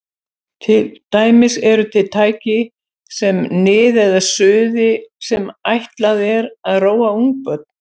Til dæmis eru til tæki með nið eða suði sem ætlað er að róa ungbörn.